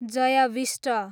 Jay Bista